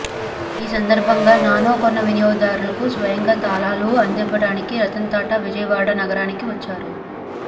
ఈ సందర్భంగా నానో కొన్న వినియోగదారులకు స్వయంగా తాళాలు అందివ్వడానికి రతన్ టాటా విజయవాడ నగరానికి వచ్చారు